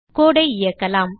codeஐ இயக்கலாம்